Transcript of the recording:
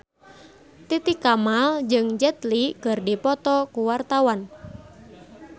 Titi Kamal jeung Jet Li keur dipoto ku wartawan